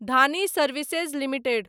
Dhani services limited